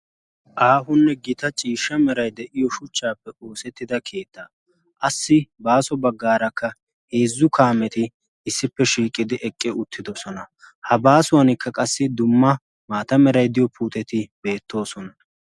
aahonne gita ciishsha merai de7iyo shuchchaappe oosettida kiittaa assi baaso baggaarakka heezzu kaameti issippe shiiqidi eqqi uttidosona ha baasuwankka qassi dumma maata meraidiyo puuteti beettoosona